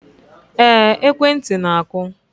Ee, ekwentị na-akụ